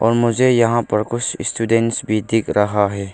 और मुझे यहां पर कुछ स्टूडेंट्स भी दिख रहा है।